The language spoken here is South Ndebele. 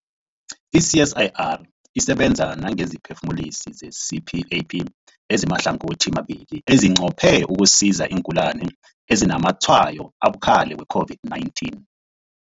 I-CSIR isebenza nangesiphefumulisi se-CPAP esimahlangothimabili esinqophe ukusiza iingulani ezinazamatshwayo abukhali we-COVID-19.